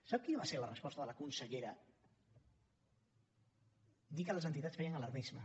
sap quina va ser la resposta de la consellera dir que les entitats feien alarmisme